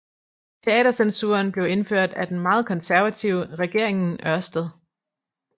Teatercensuren blev indført af den meget konservative Regeringen Ørsted